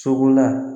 Sogola